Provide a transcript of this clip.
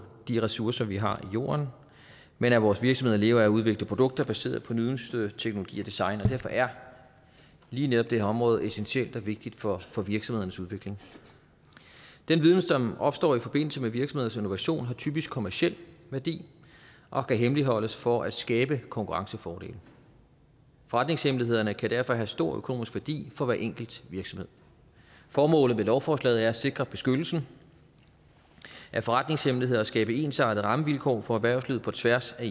de ressourcer vi har i jorden men at vores virksomheder lever af at udvikle produkter baseret på nyeste teknologi og design og derfor er lige netop det her område essentielt og vigtigt for for virksomhedernes udvikling den viden som opstår i forbindelse med virksomheders innovation har typisk kommerciel værdi og kan hemmeligholdes for at skabe konkurrencefordele forretningshemmelighederne kan derfor have stor økonomisk værdi for hver enkelt virksomhed formålet med lovforslaget er at sikre beskyttelsen af forretningshemmeligheder og at skabe ensartede rammevilkår for erhvervslivet på tværs af